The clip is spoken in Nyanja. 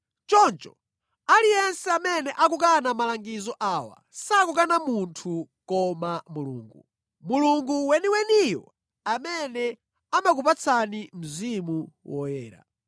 Choncho, aliyense amene akukana malangizo awa sakukana munthu koma Mulungu, Mulungu weniweniyo amene amakupatsani Mzimu Woyera.